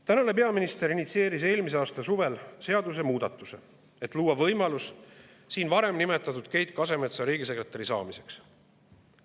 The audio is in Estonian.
Tänane peaminister initsieeris eelmise aasta suvel seadusemuudatuse, et luua võimalus siin varem nimetatud Keit Kasemetsa riigisekretäriks.